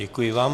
Děkuji vám.